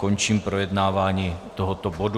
Končím projednávání tohoto bodu.